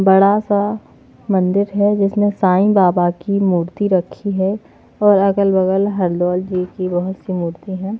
बड़ा सा मंदिर है जिसमें साईं बाबा की मूर्ति रखी हैऔर अगल-बगल हरदौल जी की बहुत सी मूर्ति है।